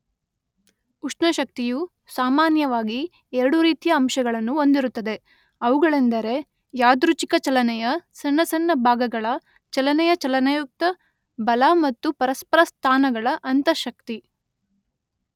ಉಷ್ಣಶಕ್ತಿಯು ಸಾಮಾನ್ಯವಾಗಿ ಎರಡು ರೀತಿಯ ಅಂಶಗಳನ್ನು ಹೊಂದಿರುತ್ತದೆ: ಅವುಗಳೆಂದರೆ ಯಾದೃಚ್ಛಿಕ ಚಲನೆಯ ಸಣ್ಣ ಸಣ್ಣ ಭಾಗಗಳ ಚಲನೆಯ ಚಲನಯುಕ್ತ ಬಲ ಮತ್ತು ಪರಸ್ಪರ ಸ್ಥಾನಗಳ ಅಂತಃ ಶಕ್ತಿ.